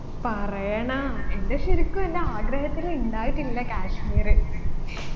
പറയണാ എൻെറ ശരിക്കും എൻെറ ആഗ്രഹത്തിൽ ഇണ്ടായിട്ടില്ല കാശ്മീര്